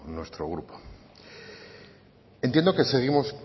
nuestro grupo entiendo que